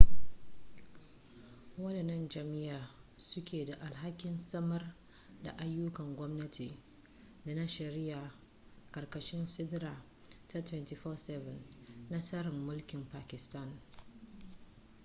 wadannan jami'ai su ke da alhakin samar daayyukan gwamnati da na shari'a ƙarkashin siɗira ta 247 na tsarin mulkin pakistan